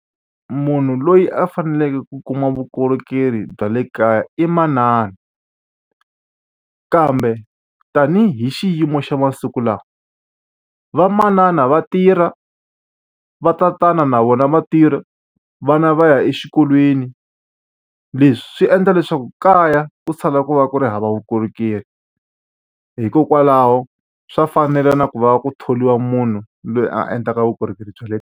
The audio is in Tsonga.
Munhu loyi a faneleke ku kuma vukorhokeri bya le kaya i manana. Kambe tanihi xiyimo xa masiku lawa, vamanana va tirha, va tatana na vona va tirha, vana va ya exikolweni. Leswi swi endla leswaku kaya ku sala ku va ku ri hava vukorhokeri. Hikokwalaho swa fanela na ku va ku thoriwa munhu loyi a endlaka vukorhokeri bya le.